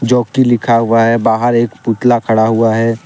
जोकि लिखा हुआ है बाहर एक पुतला खड़ा हुआ है।